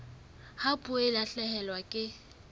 ha puo e lahlehelwa ke